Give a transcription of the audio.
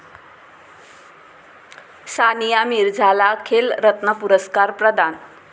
सानिया मिर्झाला 'खेलरत्न' पुरस्कार प्रदान